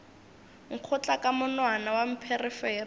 nkgotla ka monwana wa pherefere